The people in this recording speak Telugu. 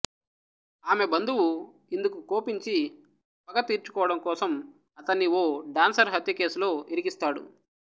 ఆమె బంధువు ఇందుకు కోపించి పగ తీర్చుకోవడం కోసం అతణ్ణి ఓ డ్యాన్సరు హత్య కేసులో ఇరికిస్తాడు